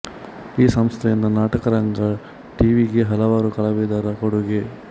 ಈ ಸಂಸ್ಥೆಯಿಂದ ನಾಟಕರಂಗ ಟಿ ವಿ ಗೆ ಹಲವಾರು ಕಲಾವಿದರ ಕೊಡುಗೆ